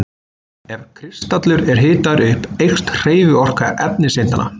Ef kristallur er hitaður upp eykst hreyfiorka efniseindanna.